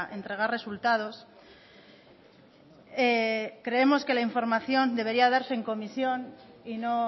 entregar resultados creemos que la información debería darse en comisión y no